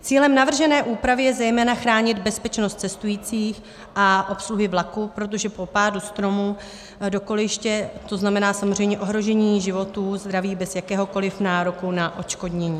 Cílem navržené úpravy je zejména chránit bezpečnost cestujících a obsluhy vlaku, protože po pádu stromu do kolejiště to znamená samozřejmě ohrožení životů, zdraví, bez jakéhokoli nároku na odškodnění.